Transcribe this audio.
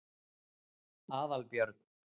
Aðalbjörn